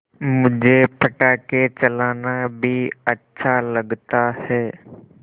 मुझे पटाखे चलाना भी अच्छा लगता है